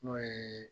N'o ye